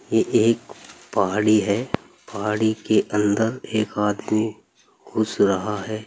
ये एक पहाड़ी है पहाड़ी के अंदर एक आदमी घुस रहा है।